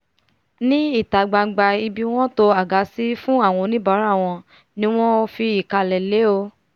ní ìta gbangba ibi wọ́n to àga sí fún àwa oníbàárà wọn ni mo fìkàlẹ̀ lé o